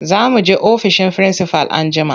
Za mu je ofishin firinsifal anjima.